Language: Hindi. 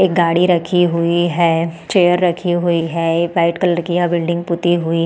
एक गाड़ी रखी हुई है चेयर रखी हुई है एक वाइट कलर की यह बिल्डिंग पुती हुई --